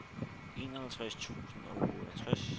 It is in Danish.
enoghalvtreds tusind og otteogtres